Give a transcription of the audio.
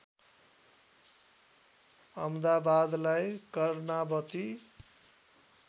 अहमदाबादलाई Karnavati